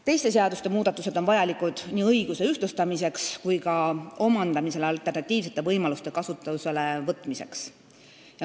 Teiste seaduste muudatused on vajalikud nii õiguse ühtlustamiseks kui ka kinnisasja omandamisel alternatiivsete võimaluste kasutusele võtmiseks.